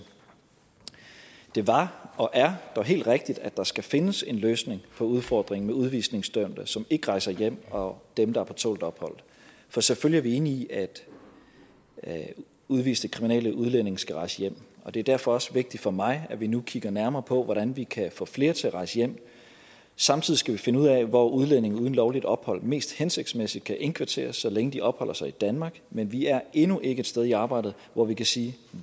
det var og er dog helt rigtigt at der skal findes en løsning på udfordringen med udvisningsdømte som ikke rejser hjem og dem der er på tålt ophold for selvfølgelig er vi enige i at at udviste kriminelle udlændinge skal rejse hjem og det er derfor også vigtigt for mig at vi nu kigger nærmere på hvordan vi kan få flere til at rejse hjem samtidig skal vi finde ud af hvor udlændinge uden lovligt ophold mest hensigtsmæssigt kan indkvarteres så længe de opholder sig i danmark men vi er endnu ikke et sted i arbejdet hvor vi kan sige